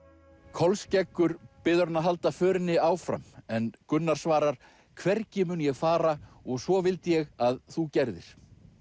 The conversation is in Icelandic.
Kolskeggur biður hann að halda förinni áfram en Gunnar svarar hvergi mun ég fara og svo vildi ég að þú gerðir